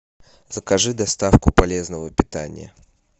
закажи доставку полезного питания